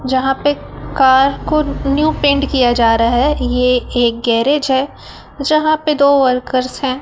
जहां पे कार को न्यू पेंट किया जा रहा है ये एक गैराज है जहां पर दो वर्कर्स है।